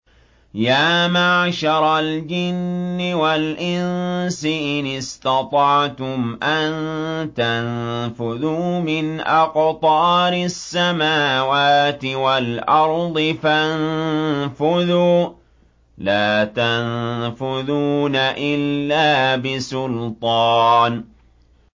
يَا مَعْشَرَ الْجِنِّ وَالْإِنسِ إِنِ اسْتَطَعْتُمْ أَن تَنفُذُوا مِنْ أَقْطَارِ السَّمَاوَاتِ وَالْأَرْضِ فَانفُذُوا ۚ لَا تَنفُذُونَ إِلَّا بِسُلْطَانٍ